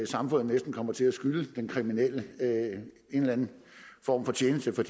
samfundet næsten kommer til at skylde den kriminelle en eller anden form for tjeneste for